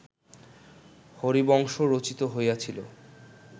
হরিবংশ রচিত হইয়াছিল